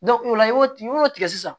o la i b'o y'o tigɛ sisan